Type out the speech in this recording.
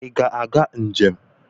I ga-aga njem?